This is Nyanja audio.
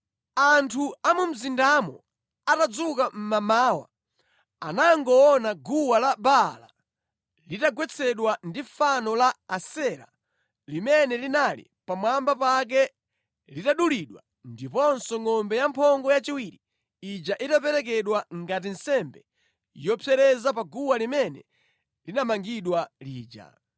Anthu a mu mzindamo atadzuka mʼmamawa anangoona guwa la Baala litagwetsedwa ndi fano la Asera limene linali pamwamba pake litadulidwa ndiponso ngʼombe yamphongo yachiwiri ija itaperekedwa ngati nsembe yopsereza pa guwa limene linamangidwa lija.